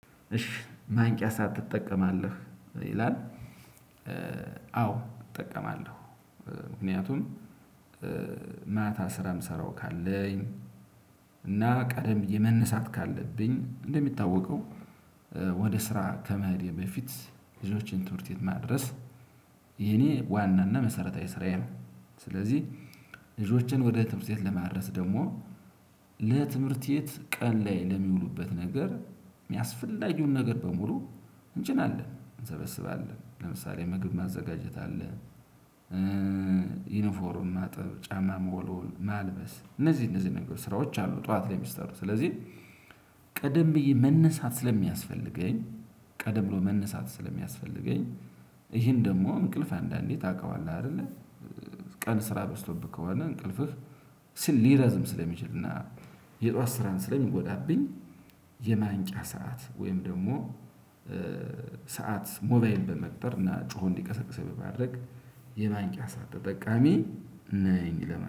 እሽ ማንቂያ ሰዓት ትጠቀማለህ ይላል? አዎ እጠቀማለሁ። ምክንያቱም ማታ ስራ ምሰራው ካለኝ እና ቀደም ብዬ መነሳት ካለብኝ እንደሚታወቀው። ወደ ስራ ከመሄዴ በፊት ልጆችን ትምህርት ቤት ማድረስ የኔ ዋናና መሰረታዊ ስራዬ ነው። ስለዚህ ልጆችን ወደ ትምህርት ቤት ለማድረስ ደግሞ ለትምህርት ቤት ቀን ላይ ለሚውሉበት ነገር አስፈላጊውን ነገር በሙሉ እንጭናለን እንሰበስባለን ለምሳሌ ምግብ ማዘጋጀት አለ። ዩኒፎርም ማጥብ ጫማ መወልወል ማልበስ እነዚህ እነዚህ ነገሮች ስራዎች አሉ ጠዋት እሚሰሩ ስለዚህ። ቀደም ብዬ መነሳት ስለሚያስፈልገኝ ቀደም ብሎ መነሳት ስለሚያስፈልገኝ ይሄን ደግሞ እንቅልፍ አንዳንዴ ታውቀዋለህ አይደለ? ቀን ስራ በዝቶብህ ከሆነ እንቅልፍህ ሊረዝም ስለሚችል እና የጧት ስራን ስለሚጎዳብኝ። የማንቂያ ሰዓት ወይም ደግሞ ሰዓት ሞባይን በመቅጠር እና ጮሆ እንዲቀሰቅሰኝ በማድረግ የማንቂያ ሰዓት ተጠቃሚ ነኝ ለማለት